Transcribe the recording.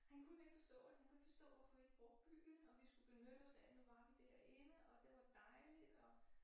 Han kunne ikke forstå det han kunne ikke forstå hvorfor vi ikke brugte byen og vi skulle benytte os af nu var vi derinde og det var dejligt og